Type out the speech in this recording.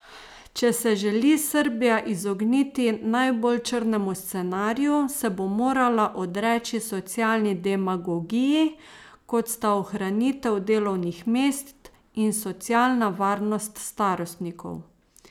Če se želi Srbija izogniti najbolj črnemu scenariju, se bo morala odreči socialni demagogiji, kot sta ohranitev delovnih mest in socialna varnost starostnikov.